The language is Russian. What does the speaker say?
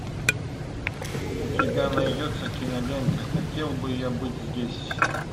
у тебя найдется кинолента хотел бы я быть здесь